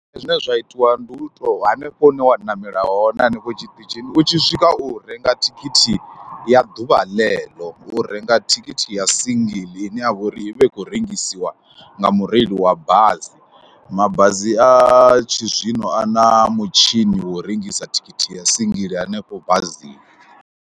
Zwine zwa itiwa ndi u tou, hanefho hune wa ṋamela hone hanefho tshiṱitshini, u tshi swika u renga thikhithi ya ḓuvha ḽeḽo, u renga thikhithi ya singiḽi ine ya vha uri i vha i khou rengisiwa nga mureili wa bazi, mabazi a tshizwino a na mutshini wo u rengisa thikhithi ya singiḽi hanefho bazini.